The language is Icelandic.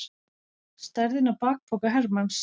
Stærðin á bakpoka hermanns.